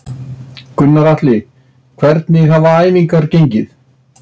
Gunnar Atli: Hvernig hafa æfingar gengið?